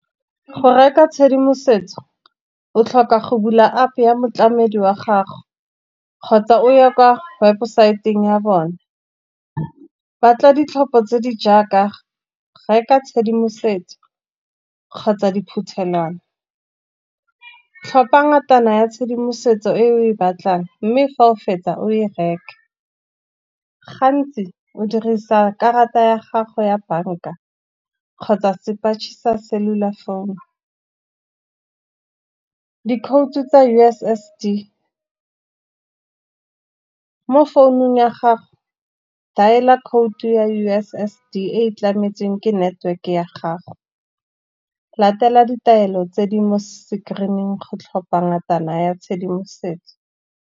Go reka tshedimosetso o tlhoka go bula App ya motlamedi wa gago, kgotsa o ye kwa webosaeteng ya bone. Batla ditlhopho tse di jaaka, reka tshedimosetso kgotsa diphuthelwana. Tlhopha ngatana ya tshedimosetso e o e batlang, mme fa o fetsa o e reke. Gantsi o dirisa karata ya gago ya bank-a, kgotsa sepatšhe sa cellular phone. Dikhoutu tsa U_S_S_D, mo founung ya gago dialer code-u ya U_S_S_D e tlametsweng ke network ya gago. Latela ditaelo tse di mo screen-ing go tlhopha ngatana ya tshedimosetso.